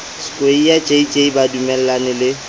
skweyiya jj ba dumellaneng le